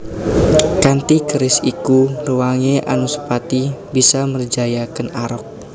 Kanthi keris iku réwangé Anusapati bisa mrejaya Kèn Arok